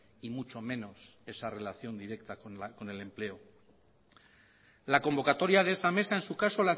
y mucho menos esa relación directa con el empleo la convocatoria de esa mesa en su caso